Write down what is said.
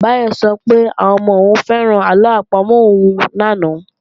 Báyọ̀ sọ pé àwọn ọmọ òun fẹ́ràn àlọ àpamọ̀ òun lánàá